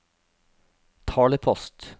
talepost